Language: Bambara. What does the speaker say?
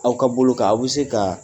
K'aw ka boloka aw bɛ se ka